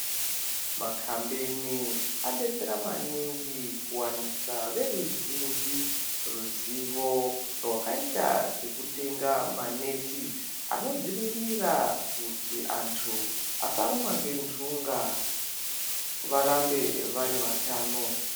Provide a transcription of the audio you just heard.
Makambeni adetsera maningi kuwanisa veruzhinji ruzivo rwakaita sekutenga maneti anodzivirira kuti antu asarumwa ngendunga varambe vari vatano.